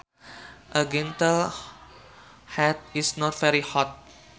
A gentle heat is not very hot